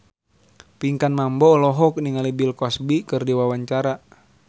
Pinkan Mambo olohok ningali Bill Cosby keur diwawancara